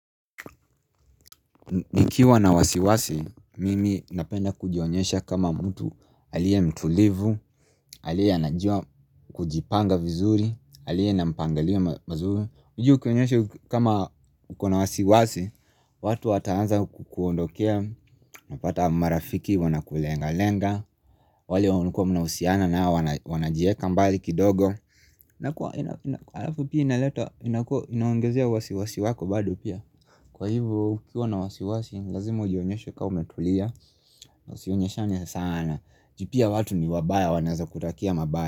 Nikiwa na wasiwasi, mimi napenda kujionyesha kama mtu aliyekuwa mtulivu, aliye anajua kujipanga vizuri, aliye na mpangilio mazuri unajua ukionyesha kama ukona wasiwasi, watu wataanza kukuondokea, napata marafiki wanakulenga lenga wale wanukua mnahusiana nao wanajieka mbali kidogo nakuwa, inakua, inakua, inaongezia wasiwasi wako bado pia Kwa hivyo, ukiwa na wasiwasi, lazima ujionyeshe kwa umetulia Usionyeshane sana juu pia watu ni wabaya wanaweza kutakia mabaya.